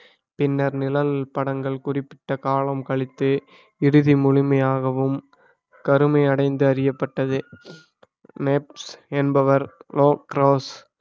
பின்னர் நிழல் படங்கள் குறிப்பிட்ட காலம் கழித்து இறுதி முழுமையாகவும் கருமை அடைந்து அறியப்பட்டது மேப்ஸ் என்பவர் நோ கிராஸ்